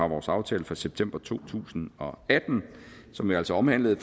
vores aftale fra september to tusind og atten som jo altså omhandler